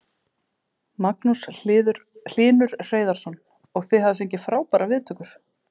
Magnús Hlynur Hreiðarsson: Og þið hafið fengið frábærar viðtökur?